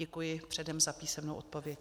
Děkuji předem za písemnou odpověď.